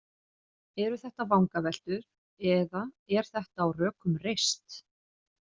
Eru þetta vangaveltur eða er þetta á rökum reist?